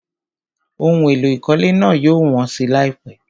Ohun èlò ìkọ́lé náà yóò wọ́n si láìpẹ́.